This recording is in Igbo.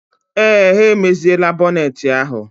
Ee, ha emeziela bọneeti ahụ.